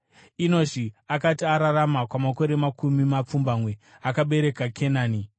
Enoshi akati ararama kwamakore makumi mapfumbamwe, akabereka Kenani.